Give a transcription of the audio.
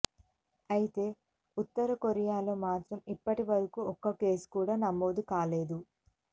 అయితే ఉత్తర కొరియాలో మాత్రం ఇప్పటివరకు ఒక్క కేసు కూడా నమోదు కాలేదు